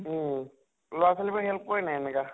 উম । লʼৰা ছোৱালী বিলাকে help কৰে নে নাই এনেকা ?